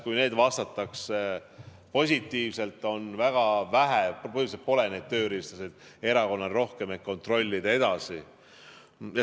Kui neile vastatakse positiivselt, siis põhimõtteliselt pole erakonnal neid tööriistasid rohkem, et edasi kontrollida.